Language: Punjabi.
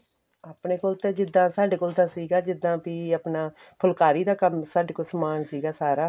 ਆਪਣੇ ਕੋਲ ਤਾਂ ਜਿੱਦਾਂ ਸਾਡੇ ਕੋਲ ਤਾਂ ਸੀਗਾ ਜਿੱਦਾਂ ਬੀ ਆਪਣਾ ਫੁੱਲਕਾਰੀ ਦਾ ਕੰਮ ਸਾਡੇ ਕੋਲ ਸਮਾਨ ਸੀਗਾ ਸਾਰਾ